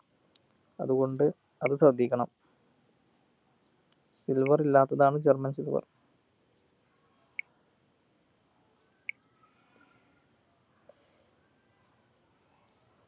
അതു കൊണ്ട് അത് ശ്രദ്ധിക്കണം silver ഇല്ലാത്തതാണ് german silver